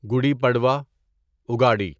گوڑی پڑوا اگاڑی